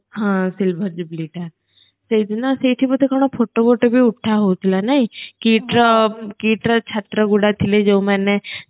ହଁ